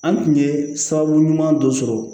An tun ye sababu ɲuman dɔ sɔrɔ